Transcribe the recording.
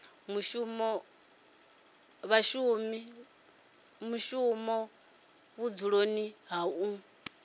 mushumi vhudzuloni ha u mu